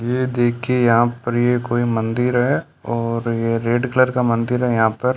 ये देखिए यहां पर ये कोई मंदिर है और यह रेड कलर का मंदिर है यहां पर।